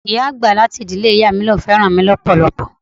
Ìyá àgbà láti ìdílé ìyá mi ní òun fẹ́ràn mi lọpọlọpọ.